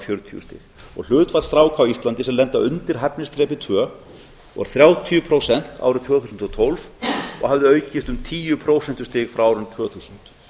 fjörutíu stig hlutfall stráka á íslandi sem lenda undir hæfnisþrepi tvö voru þrjátíu prósent árið tvö þúsund og tólf og hafði aukist um tíu prósent frá árinu tvö þúsund